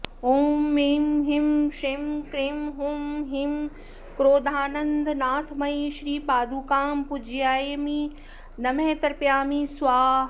ॐ ऐं ह्रीं श्रीं क्रीं हूं ह्रीं क्रोधानन्दनाथमयी श्रीपादुकां पूजयामि नमः तर्पयामि स्वाहा